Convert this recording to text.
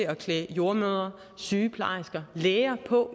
at klæde jordemødre sygeplejersker og læger på